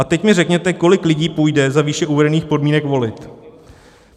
A teď mi řekněte, kolik lidí půjde za výše uvedených podmínek volit.